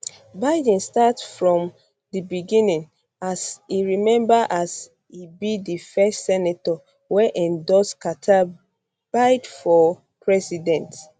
biden start from di beginning as e um remember as e be di first senator wey endorse carter bid for president